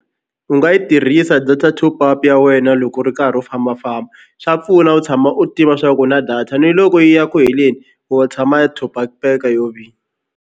U nga yi tirhisa data top up ya wena loko u ri karhi u fambafamba swa pfuna u tshama u tiva swa ku u na data ni loko yi ya ku heleni wo tshama yi top up-peka yo vini.